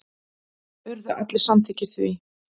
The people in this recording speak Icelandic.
Urðu allir samþykkir því.